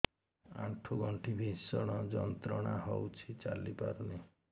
ଆଣ୍ଠୁ ଗଣ୍ଠି ଭିଷଣ ଯନ୍ତ୍ରଣା ହଉଛି ଚାଲି ପାରୁନି